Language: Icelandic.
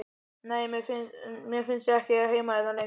Nei, mér fannst ég ekki eiga heima hérna lengur.